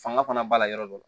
Fanga fana b'a la yɔrɔ dɔ